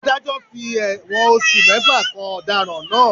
Ádájọ́ fi ẹ̀wọ̀n oṣù mẹ́fà kan ọ̀daràn náà.